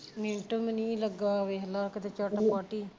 minute ਵੀ ਨਹੀਂ ਲੱਗਾ ਵੇਖਲਾ ਕਿਤੇ ਝੱਟ ਪੱਟ ਹੀ